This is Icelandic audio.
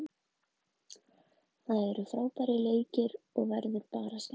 Það eru frábærir leikir og verður bara skemmtilegt.